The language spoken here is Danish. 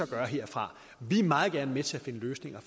gøre herfra vi er meget gerne med til at finde løsninger